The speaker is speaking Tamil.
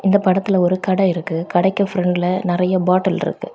இந்த படத்துல ஒரு கடை இருக்கு கடைக்கு பிரண்ட்ல நறைய பாட்டில் இருக்கு.